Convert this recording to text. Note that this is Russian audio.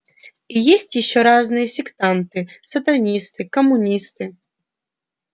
и есть ещё разные сектанты сатанисты коммунисты